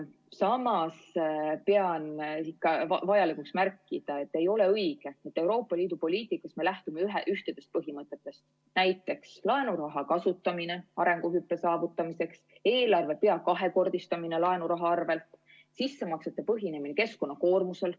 Samas pean vajalikuks märkida, et ei ole õige, et Euroopa Liidu poliitikas me lähtume ühtedest põhimõtetest, näiteks laenuraha kasutamine arenguhüppe saavutamiseks, eelarve peaaegu kahekordistamine laenuraha arvel ja sissemaksete põhinemine keskkonnakoormusel.